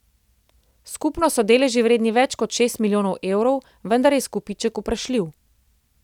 Skupno so deleži vredni več kot šest milijonov evrov, vendar je izkupiček vprašljiv.